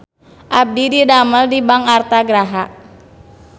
Abdi didamel di Bank Artha Graha